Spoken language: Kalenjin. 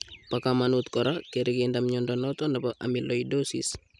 Bo kamanut kora kerikinda mnyondo noton nebo amyloidosis